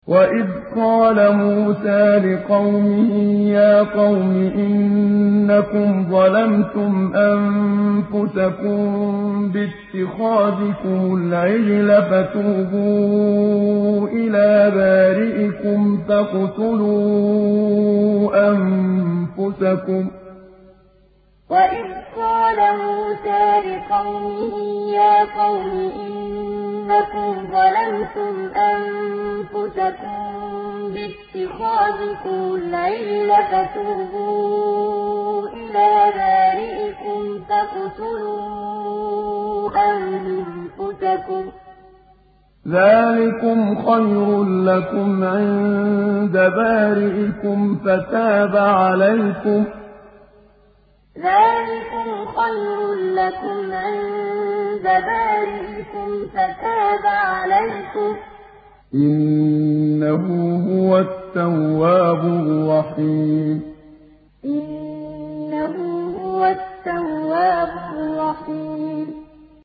وَإِذْ قَالَ مُوسَىٰ لِقَوْمِهِ يَا قَوْمِ إِنَّكُمْ ظَلَمْتُمْ أَنفُسَكُم بِاتِّخَاذِكُمُ الْعِجْلَ فَتُوبُوا إِلَىٰ بَارِئِكُمْ فَاقْتُلُوا أَنفُسَكُمْ ذَٰلِكُمْ خَيْرٌ لَّكُمْ عِندَ بَارِئِكُمْ فَتَابَ عَلَيْكُمْ ۚ إِنَّهُ هُوَ التَّوَّابُ الرَّحِيمُ وَإِذْ قَالَ مُوسَىٰ لِقَوْمِهِ يَا قَوْمِ إِنَّكُمْ ظَلَمْتُمْ أَنفُسَكُم بِاتِّخَاذِكُمُ الْعِجْلَ فَتُوبُوا إِلَىٰ بَارِئِكُمْ فَاقْتُلُوا أَنفُسَكُمْ ذَٰلِكُمْ خَيْرٌ لَّكُمْ عِندَ بَارِئِكُمْ فَتَابَ عَلَيْكُمْ ۚ إِنَّهُ هُوَ التَّوَّابُ الرَّحِيمُ